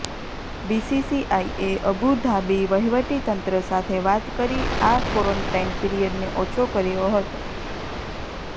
બીસીસીઆઇએ Abu Dhabi વહિવટીતંત્ર સાથે વાત કરી આ કોરોન્ટાઇન પીરિયડને ઓછો કર્યો હતો